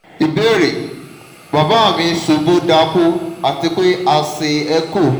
ìbéèrè: baba mi ṣubu daku ati pe a ṣe echo